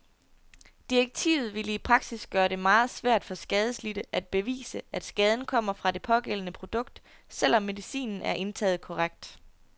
Direktivet ville i praksis gøre det meget svært for skadelidte at bevise, at skaden kommer fra det pågældende produkt, selvom medicinen er indtaget korrekt.